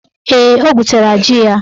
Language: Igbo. Ee, o gwutere ji ya.